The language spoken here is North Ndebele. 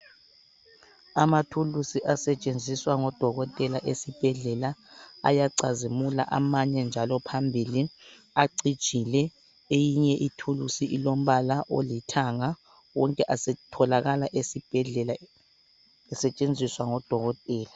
Amathuluzi asetshenziswa ngodokotela esibhedlela ayacazimula amanye njalo phambili acijile eyinye ithuluzi ilombala olithanga wonke atholakala esibhedlela esetshenziswa ngodokotela.